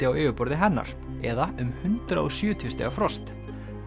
á yfirborðinu hennar eða um hundrað og sjötíu stiga frost